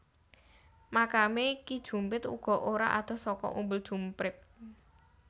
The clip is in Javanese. Makame Ki Jumprit uga ora adoh saka Umbul Jumprit